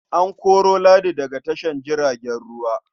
An koro Ladi daga tashar jiragen ruwa.